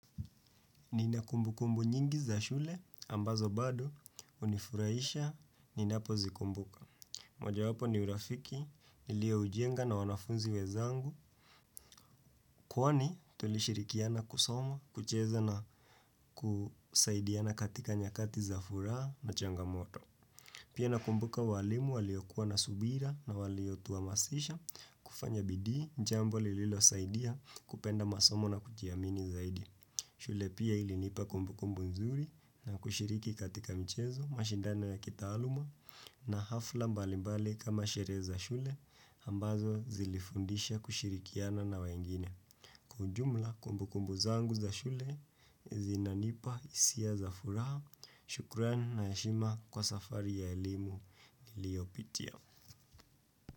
Nina kumbukumbu nyingi za shule ambazo bado hunifurahisha ninapozikumbuka. Moja wapo ni urafiki, nilioujenga na wanafunzi wenzangu. Kwani tulishirikiana kusoma, kucheza na kusaidiana katika nyakati za furaha na changamoto. Pia nakumbuka walimu waliokuwa na subira na waliotuhamasisha kufanya bidii, jambo lililosaidia kupenda masomo na kujiamini zaidi. Shule pia ilinipa kumbukumbu nzuri na kushiriki katika mchezo mashindano ya kitaaluma na hafla mbalimbali kama sherehe za shule ambazo zilifundisha kushirikiana na wengine. Kwa ujumla kumbukumbu zangu za shule zinanipa hisia za furaha. Shukran na heshima kwa safari ya elimu liyopitia.